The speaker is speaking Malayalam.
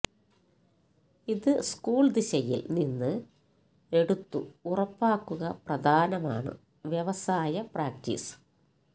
ഇത് സ്കൂൾ ദിശയിൽ നിന്ന് എടുത്തു ഉറപ്പാക്കുക പ്രധാനമാണ് വ്യവസായ പ്രാക്ടീസ്